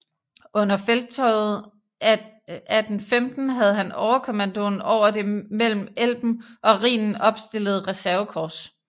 Under felttoget 1815 havde han overkommandoen over det mellem Elben og Rhinen opstillede reservekorps